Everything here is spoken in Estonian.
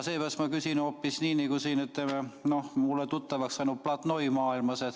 Seepärast ma küsin hoopis nii, nagu mulle tuttavaks saanud platnoimaailmas.